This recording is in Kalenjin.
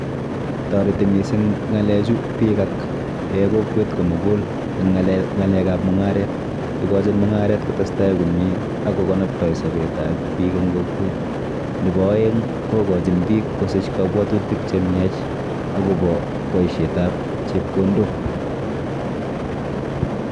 Toreti mising ng'alechu biik ak eh kokwet komukul eng ng'alekap mung'aret. Ikochin mung'aret kotestai komie akokonoptoi sopetap biik eng kokwet. Nepo aeng kokochin biik kosich kabwotutik chemiach akopo boisietap chepkondok.